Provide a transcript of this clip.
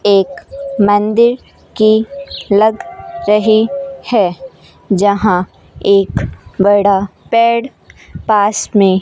एक मंदिर की लग रही है जहां एक बड़ा पेड़ पास में --